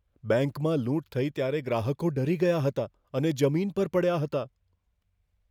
બેંકમાં લૂંટ થઈ ત્યારે ગ્રાહકો ડરી ગયા હતા અને જમીન પર પડ્યા હતા.